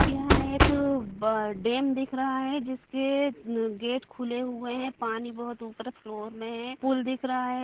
यहाँ एक अब डैम दिख रहा है जिसके गेट खुले हुए हैं पानी बहुत ऊपर फ्लोर में है पुल दिख रहा है।